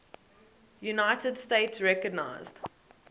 united states recognized